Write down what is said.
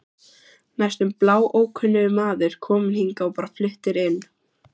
Næstum bláókunnugur maður, kominn hingað og bara fluttur inn.